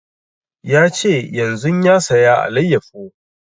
Ya ce yanzun ya saya alayyafo